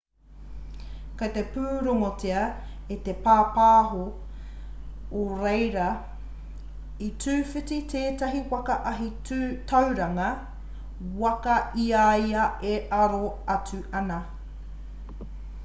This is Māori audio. kei te pūrongotia e te pāpāho o reira i tūwhiti tētahi waka ahi tauranga waka i a ia e aro atu ana